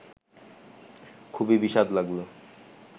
খুবই বিস্বাদ লাগল